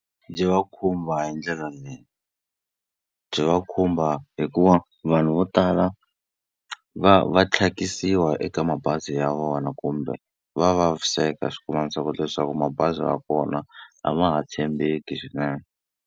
Byi va khumba hi ndlela leyi. Byi va khumba hikuva vanhu vo tala va va tlhakisiwa eka mabazi ya vona kumbe va vaviseka leswaku mabazi ya kona a ma ha tshembeki swinene.